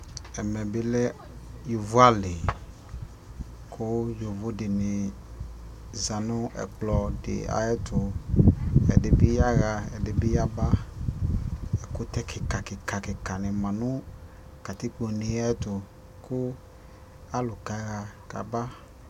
Ɛmɛ bi lɛ yovo ali kʋ yovo dini za nʋ ɛkplɔ di ayɛtʋ Ɛdi bi yaɣa, ɛdi bi yaba Ɛkʋtɛ kikakikakika ni ma nʋ katikpone yɛ tʋ kʋ alʋ kaɣa kaba